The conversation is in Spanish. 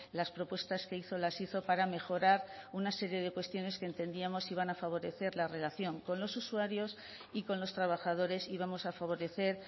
las propuestas que hizo las hizo para mejorar una serie de cuestiones que entendíamos iban a favorecer la relación con los usuarios y con los trabajadores y vamos a favorecer